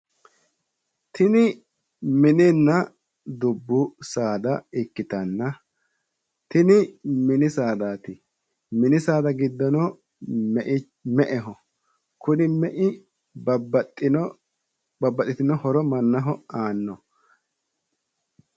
Tini mininna dubbu saada ikkitanna, Tini mini saadaati. Mini saada giddono me'eho. kuni mei mannaho babbaxxitino horo aanno.